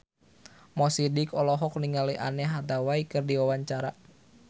Mo Sidik olohok ningali Anne Hathaway keur diwawancara